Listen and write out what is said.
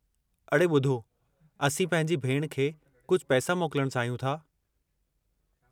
अड़े ॿुधो, असीं पंहिंजी भेण खे कुझु पैसा मोकलणु चाहियूं था।